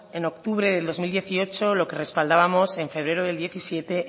en octubre del dos mil dieciocho lo que respaldábamos en febrero de dos mil diecisiete